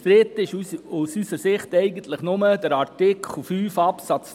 Umstritten ist aus unserer Sicht nur Artikel 5 Absatz